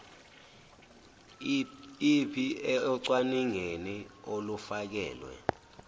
ip ocwaningeni olufakelwe